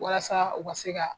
Walasa u ka se ka